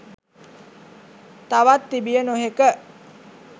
තවත් තිබිය නොහැක